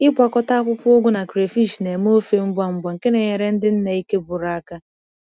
Ịgwakọta akwụkwọ ugu na crayfish na-eme ofe ngwa ngwa nke na-enyere ndị nne ike gwụrụ aka.